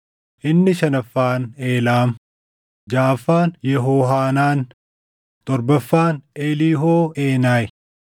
inni shanaffaan Eelaam, jaʼaffaan Yehohaanaan, torbaffaan Eliihooʼeenayi.